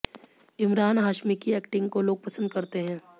इमरान हाशमी की एक्टिंग को लोग पसंद करते हैं